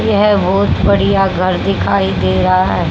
यह बहोत बढ़िया घर दिखाई दे रहा है।